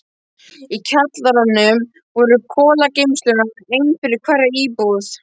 Í kjallaranum voru kolageymslurnar, ein fyrir hverja íbúð.